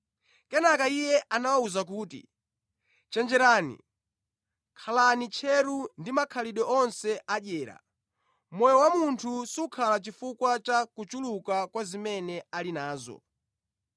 Kenaka Iye anawawuza kuti, “Chenjerani! Khalani tcheru ndi makhalidwe onse adyera; moyo wa munthu sukhala chifukwa cha kuchuluka kwa zimene ali nazo.”